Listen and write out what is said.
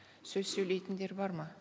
сөз сөйлейтіндер бар ма